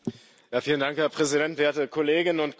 Herr Präsident, werte Kolleginnen und Kollegen!